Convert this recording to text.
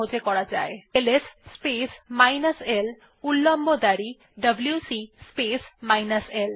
লেখা যাক LS space minus l উল্লম্ব দাঁড়ি ডব্লিউসি স্পেস মাইনাস l